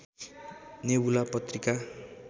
nebula Patrika